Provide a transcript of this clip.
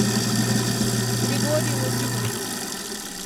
григорий владимирович